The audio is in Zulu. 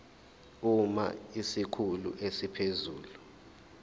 uma isikhulu esiphezulu